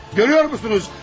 Görürsünüzmü?